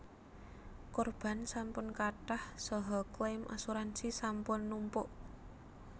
Korban sampun kathah saha claim asuransi sampun numpuk